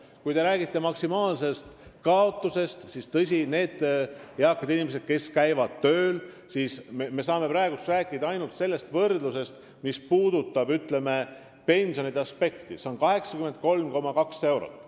Kui rääkida maksimaalsest kaotusest, siis nende eakate inimeste puhul, kes käivad tööl, saame me praegu aluseks võtta ainult pensionide võrdluse – sel juhul on see 83,2 eurot.